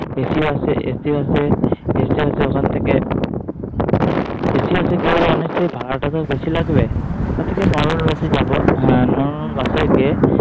AC BusACBus ওখান থেকে Bus কি হবে অনেকটাই ভাড়াটাও বেশি লাগবে তার থেকে নরমাল বাসেই যাবো। বাসে গিয়ে